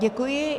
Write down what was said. Děkuji.